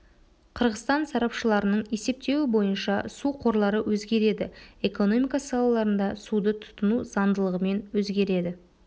қырғызстан сарапшыларының есептеуі бойынша су қорлары өзгереді экономика салаларында суды тұтыну заңдылығымен өзгереді